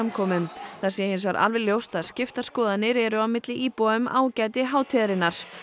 fjöldasamkomum það sé hins vegar alveg ljóst að skiptar skoðanir eru á meðal íbúa um ágæti hátíðarinnar